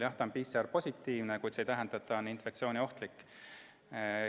Jah, inimene on PCR-positiivne, kuid see ei tähenda, et ta on infektsiooniohtlik.